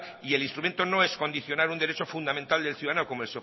y el instrumento no es condicionar un derecho fundamental del ciudadano como